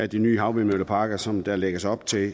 de nye havvindmølleparker som der lægges op til